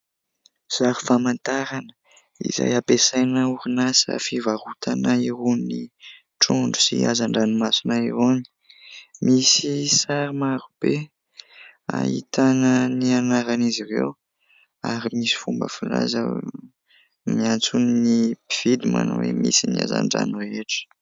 Sary famantarana izay ampiasain' ny orinasa fivarotana hoa ny trondro sy hazan-dranomasina ihany. Misy sary maro be ahitana ny anaran' izy ireo ary misy fomba filaza miantso ny mpividy manao hoe misy ny hazan-drano rehetra.